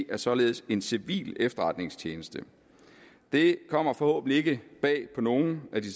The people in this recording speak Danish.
er således en civil efterretningstjeneste det kommer forhåbentlig ikke bag på nogen af de